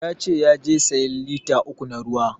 Ya ce yaje sayan lita uku na ruwa